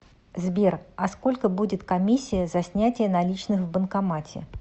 сбер а сколько будет комиссия за снятие наличных в банкомате